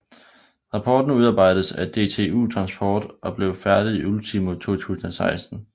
Rapporten udarbejdedes af DTU Transport og blev færdig ultimo 2016